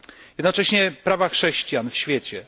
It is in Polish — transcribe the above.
Jednocześnie prawa chrześcijan w świecie.